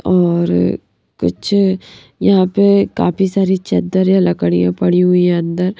और कुछ यहां पे काफी सारी चद्दर या लकड़ियां पड़ी हुई है अंदर--